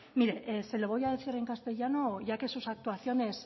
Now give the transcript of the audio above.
mire se lo voy a decir en castellano ya que sus actuaciones